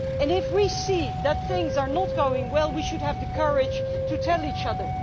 And if we see that things are not going well, we should have the courage to tell each other.